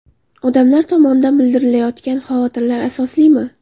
Odamlar tomonidan bildirilayotgan xavotirlar asoslimi?